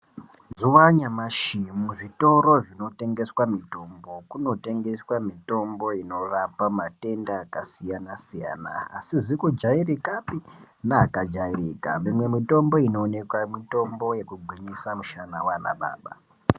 Mazuva anyamashi muzvitoro zvinotengeswa mitombo kunotengeswa mitombo inorapa matenda akasiyana siyana asizi kujairikapi neakajairika. Mimwe mitombo inooneka mitombo yekugwinyisa mushana wanababa.